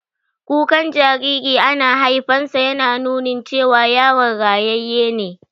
Kukan jariri ana haifansa yana nunin cewa yaron rayayye ne